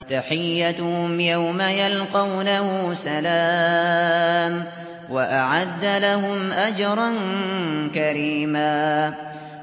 تَحِيَّتُهُمْ يَوْمَ يَلْقَوْنَهُ سَلَامٌ ۚ وَأَعَدَّ لَهُمْ أَجْرًا كَرِيمًا